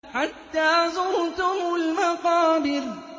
حَتَّىٰ زُرْتُمُ الْمَقَابِرَ